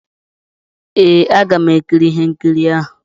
Ee, aga m ekiri ihe nkiri ahụ.